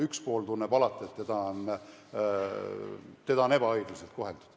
Üks pool tunneb alati, et teda on ebaõiglaselt koheldud.